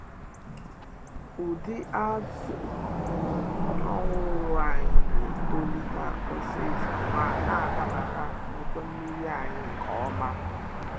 Ụdị azù um ọhụrụ anyị na-etolite osisor ma na-adabara ọdọ nmiri anyị nke ọma.